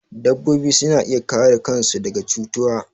Dabbobi suna iya kare kan su daga cutuwa